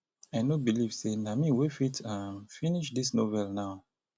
i no believe say na me wey fit um finish dis novel now